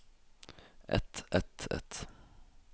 et et et